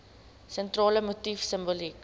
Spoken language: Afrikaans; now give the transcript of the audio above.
sentrale motief simboliek